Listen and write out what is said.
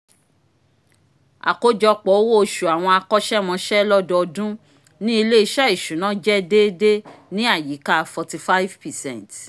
akojọpọ owo osu àwọn akọsẹmọse lododun ni ile-iṣẹ iṣuna jẹ deede ni àyíká forty five percent